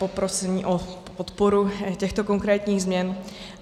Poprosím o podporu těchto konkrétních změn.